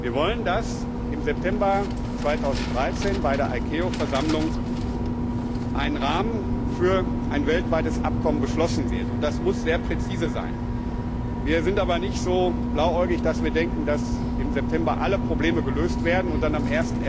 Wir wollen, dass im September 2013 bei der ICAO Versammlung ein Rahmen für ein weltweites Abkommen beschlossen wird. Und das muss sehr präzise sein. Wir sind aber nicht so blauäugig, dass wir denken, dass im September alle Probleme gelöst werden und dann am